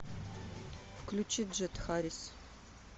включи джет харрис